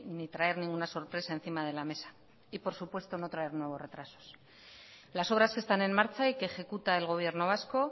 ni traer ninguna sorpresa encima de la mesa y por supuesto no traer nuevos retrasos las obras que están en marcha y que ejecuta el gobierno vasco